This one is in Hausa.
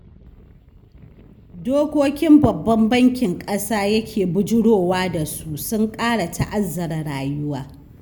Dokokin Babban Bankin ƙasa yake bujurowa da su, sun ƙara ta'azaara rayuwa.